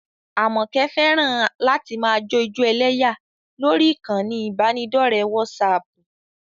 Àmọ̀kẹ́ fẹ́ràn láti máa jó ijó ẹlẹ́yà lórí ìkànnì ìbánidọ́ọ̀rẹ́ wásaaàpù